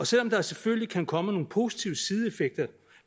selv om der selvfølgelig kan komme nogle positive sideeffekter